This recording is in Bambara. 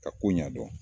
Ka ko ɲɛdɔn